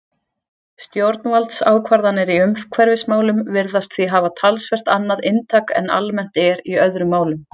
Stjórnvaldsákvarðanir í umhverfismálum virðast því hafa talsvert annað inntak en almennt er í öðrum málum.